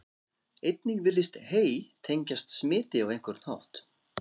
Einnig virðist hey tengjast smiti á einhvern hátt.